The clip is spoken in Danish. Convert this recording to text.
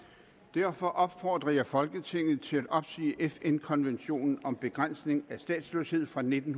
derfor opfordrer jeg folketinget til at opsige fn konventionen om begrænsning af statsløshed fra nitten